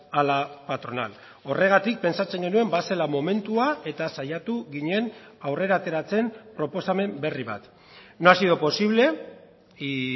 a la patronal horregatik pentsatzen genuen bazela momentua eta saiatu ginen aurrera ateratzen proposamen berri bat no ha sido posible y